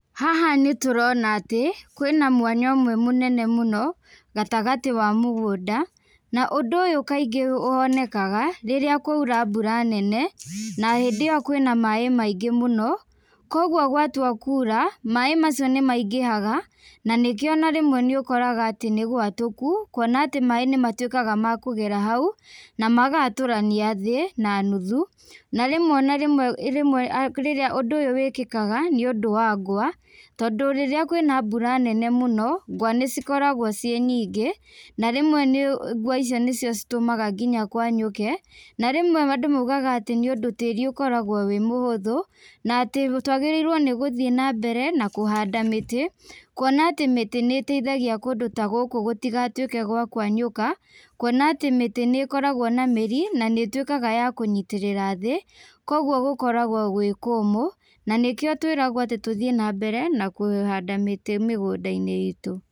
Haha nĩtũrona atĩ, kwĩna mwanya ũmwe mũnene mũno, gatagatĩ wa mũgũnda, na ũndũ ũyũ kaingĩ wonekaga, rĩrĩa kwaura mbura nene, na hĩndĩ ĩyo kwĩna maĩ maingĩ mũno, koguo gwatua kura, maĩ macio nĩmaingĩhaga, na nĩkĩo o na rĩmwe nĩũkoraga atĩ nĩgwatũku, kuona atĩ maĩ nĩmatuĩkaga ma kũgera hau, namagatũrania thĩ, nanuthu, na rĩmwe narĩmwe rĩmwe rĩrĩa ũndũ ũyũ wĩkĩkaga nĩũndũ wa ngwa, tondũ rĩrĩa kwĩna mbura nene mũno, ngwa nĩcikoragwo ciĩ nyingĩ, na rĩmwe nĩũ ngwa icio nĩcio citũmaga nginya kwanyũke, na rĩmwe andũ maugaga atĩ nĩũndũ tĩri ũkoragwo wĩ mũhũthũ, na atĩ twagĩrĩirwo nĩgũthiĩ nambere na kũhanda mĩtĩ, kuona atĩ mĩtĩ nĩiteithagi kũndũ ta gũkũ gũtigatuĩke gwa kwenyũka, kuona atĩ mĩtĩ nĩkoragwo na mĩrĩ, na nĩituĩkaga ya kũnyitĩrĩra thĩ, koguo gũkoragwo gwĩ kũmũ, na nĩkĩo twĩragwo atĩ tũthiĩ nambere na kũhũnda mĩtĩ mĩgũndainĩ itũ.